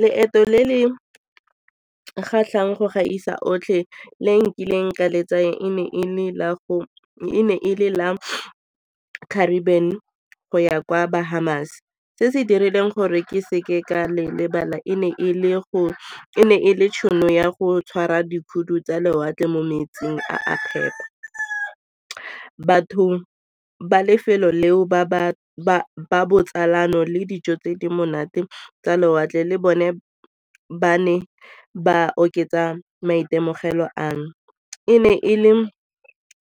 Leeto le le kgatlhang go gaisa otlhe le nkileng ka le tsaya e ne e le la Caribbean go ya kwa Bahams se se dirileng gore ke seke ka le lebala e ne e le gore e ne e le tšhono ya go tshwara dikhoutu tsa lewatle mo metsing a phepa. Batho ba lefelo leo ba botsalano le dijo tse di monate tsa lewatle le bone ba ne ba oketsa maitemogelo a no. E ne e le